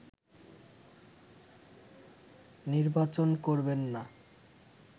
নির্বাচন করবেননা